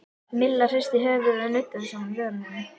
Milla hristi höfuðið og nuddaði saman vörunum.